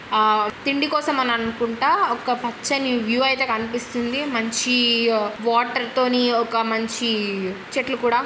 ఆ తిండి కోసం అని అనుకుంటా ఒక పచ్చని వ్యూ అయితే కనిపిస్తుంది. మంచ్చీఆ వాటర్ తోని ఒక మంచీ చెట్లు కూడా--